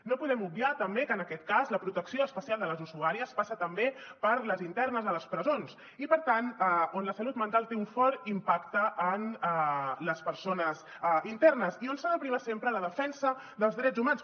no podem obviar tampoc que en aquest cas la protecció especial de les usuàries passa també per les internes a les presons i per tant on la salut mental té un fort impacte en les persones internes i on s’ha de primar sempre la defensa dels drets humans